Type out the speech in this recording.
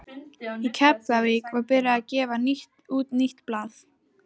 Í Keflavík var byrjað að gefa út nýtt blað.